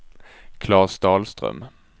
Klas Dahlström